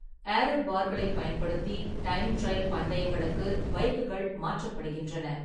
Aero பார்களைப் பயன்படுத்தி, time trial பந்தயங்களுக்கு பைக்குகள் மாற்றப்படுகின்றன.